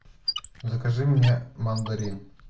закажи мне мандарин